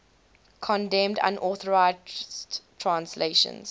condemned unauthorized translations